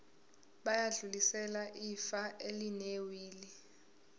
bayodlulisela ifa elinewili